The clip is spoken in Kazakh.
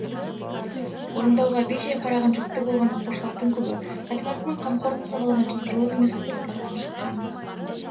орындауға бей-жай қараған жүкті болған оқушылардың көбі ата-анасының қамқорынсыз қалған және толық емес отбасылардан шыққан